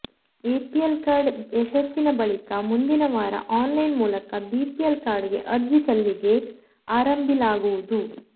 APL card ಯಶಸ್ಸಿನ ಬಳಿಕ ಮುಂದಿನ ವಾರ ಆನ್ಲೈನ್ ಮೂಲಕ ಬಿಪಿಎಲ್ ಕಾರ್ಡ್ಗೆ ಅರ್ಜಿ ಸಲ್ಲಿಗೆ ಆರಂಭಿಲಾಗುವುದು